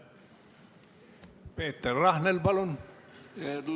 Peeter Rahnel, palun!